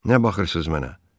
Nə baxırsız mənə?